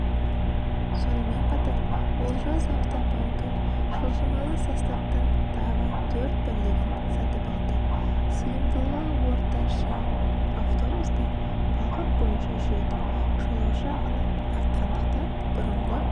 сонымен қатар олжас автопаркі жылжымалы составтың тағы төрт бірлігін сатып алды сыйымдылығы орташа автобустар бағыт бойынша жүреді жолаушы ағыны артқандықтан бұрынғы